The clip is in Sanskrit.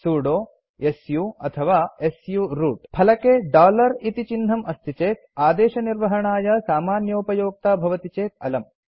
सुदो सु ಅಥವಾ सु रूत् फलके डॉलर इति चिह्नम् अस्ति चेत् आदेशनिर्वहणाय सामान्योपयोक्ता भवति चेत् अलम्